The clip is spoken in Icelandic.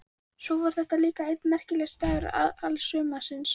Svo var þetta líka einn merkasti dagur alls sumarsins.